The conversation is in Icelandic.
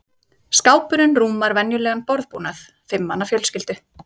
skápurinn rúmar venjulegan borðbúnað fimm manna fjölskyldu